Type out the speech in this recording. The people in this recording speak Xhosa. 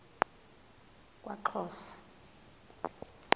kwaxhosa